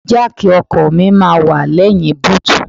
Jáàkì ọkọ̀ mi máa wà lẹ́yìn búùtù.